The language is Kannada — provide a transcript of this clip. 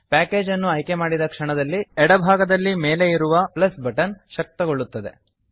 ಪ್ಯಾಕೇಜ್ ಅನ್ನು ಆಯ್ಕೆ ಮಾಡಿದ ಕ್ಷಣದಲ್ಲಿ ಎಡಭಾಗದಲ್ಲಿ ಮೇಲೆ ಇರುವ ಪ್ಲಸ್ ಬಟನ್ ಪ್ಲಸ್ ಬಟನ್ ಶಕ್ತಗೊಳ್ಳುತ್ತದೆ